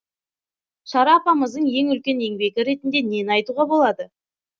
шара апамыздың ең үлкен еңбегі ретінде нені айтуға болады